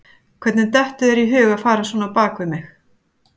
Hvernig dettur þér í hug að fara svona á bak við mig?